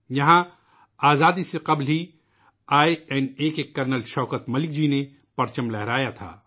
یہاں ، آزادی سے قبل ہی ، آئی این اے کے کرنل شوکت ملک نے پرچم لہرایا تھا